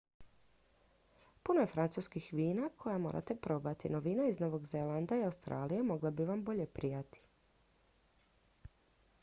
puno je francuskih vina koja morate probati no vina iz novog zelanda i australije mogla bi vam bolje prijati